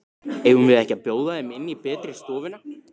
Eigum við ekki að bjóða þeim inn í betri stofuna?